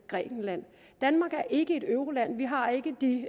grækenland danmark er ikke et euroland vi har ikke de